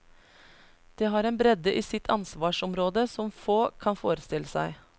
Det har en bredde i sitt ansvarsområde som få kan forestille seg.